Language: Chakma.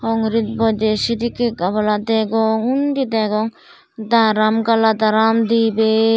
hongirit boiday sedikane gamala degong undi degong darom galadram dibey.